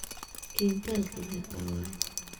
Kintalki meqaa waye?